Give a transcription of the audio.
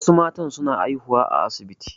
Wasu matan su na haihuwa a asibiti